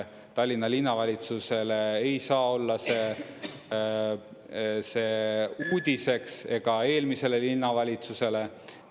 Tallinna Linnavalitsusele ei saa olla see see uudiseks ega eelmisele linnavalitsusele.